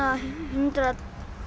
hundrað